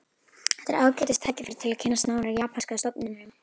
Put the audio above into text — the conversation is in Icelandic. Þetta er ágætis tækifæri til að kynnast nánar japanska stofninum